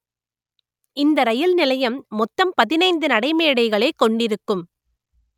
இந்த ரயில் நிலையம் மொத்தம் பதினைந்து நடைமேடைகளை கொண்டிருக்கும்